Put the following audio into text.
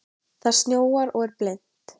Það snjóar og er blint.